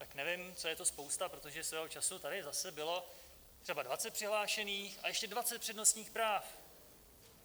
Tak nevím, co je to spousta, protože svého času tady zase bylo třeba 20 přihlášených a ještě 20 přednostních práv.